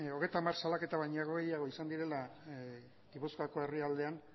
hogeita hamar salaketa baino gehiago izan direla gipuzkoako herrialdean